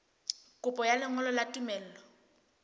kopo ya lengolo la tumello